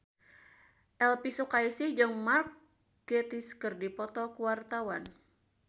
Elvy Sukaesih jeung Mark Gatiss keur dipoto ku wartawan